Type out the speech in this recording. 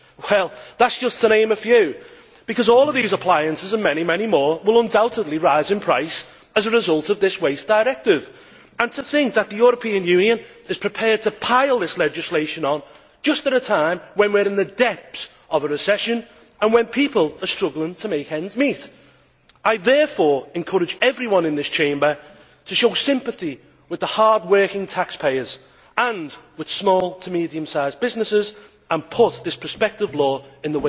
Well, that is just to name a few, because all of these appliances and many more will undoubtedly rise in price as a result of this waste directive. And to think that the European Union is prepared to pile this legislation on just at a time when we are in the depths of a recession and when people are struggling to make ends meet! I therefore encourage everyone in this Chamber to show sympathy with the hardworking taxpayers and with small to medium sized businesses and put this prospective law in